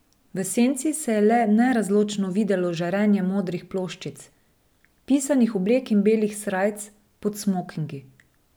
V senci se je le nerazločno videlo žarenje modrih ploščic, pisanih oblek in belih srajc pod smokingi.